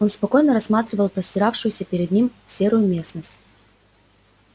он спокойно рассматривал простиравшуюся перед ним серую местность